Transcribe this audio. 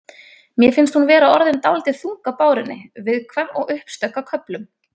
Mér finnst hún vera orðin dálítið þung á bárunni. viðkvæm og uppstökk á köflum.